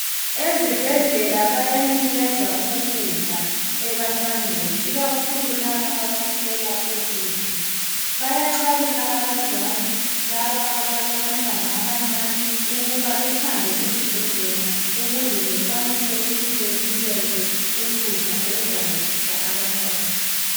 Ezibhedlela baya nikeza ukudla ebantwaneni ikakhulu laba abaswela ukudla .Bayaxwayisa abazali laba abala bantwana abancane ukuba behambe ezibhedlela ukuze bekwanise ukuthi benikezwe ukudla okuzancedisa abantwana .